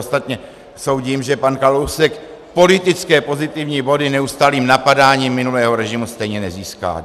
Ostatně soudím, že pan Kalousek politické pozitivní body neustálým napadáním minulého režimu stejně nezíská.